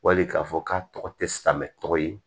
Wali k'a fɔ k'a tɔgɔ tɛ silamɛ tɔgɔ ye